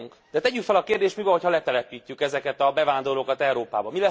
De tegyük fel a kérdést mi van, hogyha letelepítjük ezeket a bevándorlókat Európában?